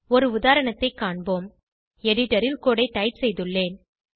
ஒரு உதாரணத்தை காண்போம் எடிடரில் ஏற்கனவே கோடு ஐ டைப் செய்துள்ளேன்